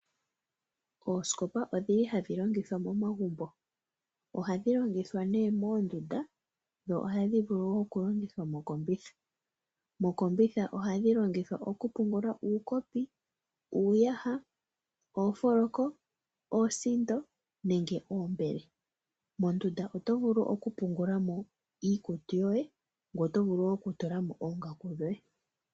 Oosikopa odhili hadhi longithwa momagubo .Ohadhi longithwa mondunda dho ohadhi vulu woo okulongithwa mokombitha .Mokombitha ohadhi longithwa okupungula uukopi ,uuyaha ,oofoloko ,oosiindo nosho woo oombele. Mondunda otovulu woo okupungula mo iikutu yoye ngoye otovulu woo okutula mo oongaaku dhoye.